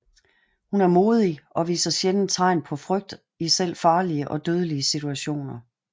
Hun er modig og viser sjældent tegn på frygt i selv farlige og dødelige situationer